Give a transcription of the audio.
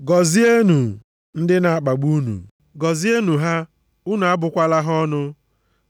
Gọzienụ ndị na-akpagbu unu, gọzienụ ha, unu abụkwala ha ọnụ.